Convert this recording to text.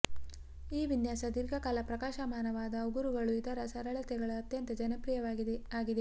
ಈ ವಿನ್ಯಾಸ ದೀರ್ಘಕಾಲ ಪ್ರಕಾಶಮಾನವಾದ ಉಗುರುಗಳು ಇದರ ಸರಳತೆಯ ಅತ್ಯಂತ ಜನಪ್ರಿಯವಾಗಿದೆ ಆಗಿದೆ